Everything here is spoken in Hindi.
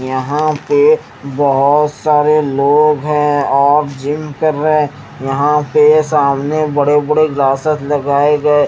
यहाँ पे बोहोत सारे लोग है और जिम कर रहे यहाँ पे सामने बड़े बड़े ग्लासेस लगाये गये --